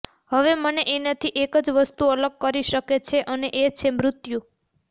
હવે મને એનાથી એક જ વસ્તુ અલગ કરી શકે છે અને એ છે મૃત્યુ